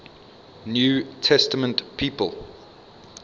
new testament people